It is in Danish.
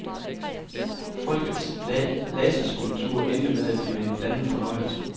Folkets laserskulptur endte med at blive en blandet fornøjelse.